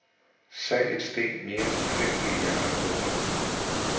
Salget steg mere end fem milliarder kroner.